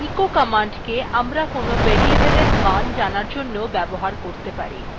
echo command কে আমরা কোনো variable we মান জানার জন্য ব্যবহার করতে পারি